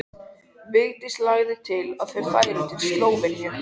Vigdís lagði til að þau færu til Slóveníu.